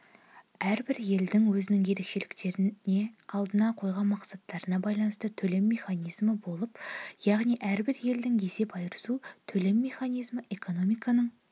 әрбір елдің өзінің ерекшеліктеріне алдына қойған мақсаттарына байланысты төлем механизмі болады яғни әрбір елдің есеп-айырысу төлем механизмі экономиканың